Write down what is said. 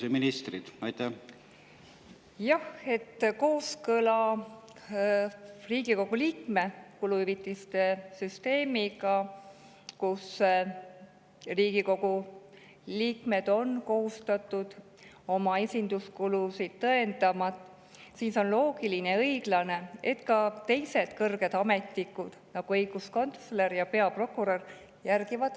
Jah, on loogiline ja õiglane, et Riigikogu liikmete kuluhüvitiste süsteem, mille järgi on Riigikogu liikmed kohustatud oma esinduskulusid tõendama, on kooskõlas standarditega, mida järgivad teised kõrged ametnikud, nagu õiguskantsler ja peaprokurör.